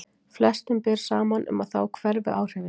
Flestum ber saman um að þá hverfi áhrifin.